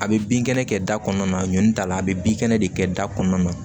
A bɛ bin kɛnɛ kɛ da kɔnɔna na ɲɔn t'a la a bɛ bin kɛnɛ de kɛ da kɔnɔna na